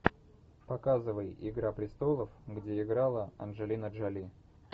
показывай игра престолов где играла анджелина джоли